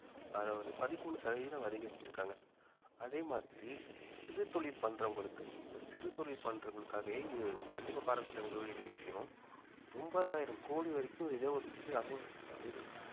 அதாவது பதிமூணு சதவீதம் அதிகரிச்சிருக்காங்க அதே மாதிரி சிறுதொழில் பண்றவங்களுக்கு இப்ப சிறுதொழில் பண்றவங்களுக்காகவே இது கண்டிப்பா பாராட்டதக்க கூடிய விஷயம் ஒன்பதாயிரம் கோடி வரைக்கும்